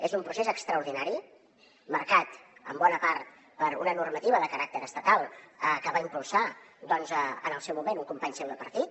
és un procés extraordinari marcat en bona part per una normativa de caràcter estatal que va impulsar en el seu moment un company seu de partit